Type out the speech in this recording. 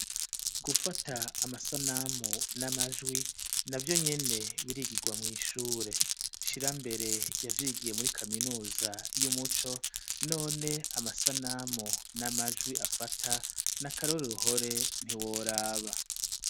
Gufata amasanamu n'amajwi na vyo nyene birigirwa mw'ishure shira mbere yavyigiye muri kaminuza y'umuco none amasanamu n'amajwi afata n'akarore ruhore ntiworaba.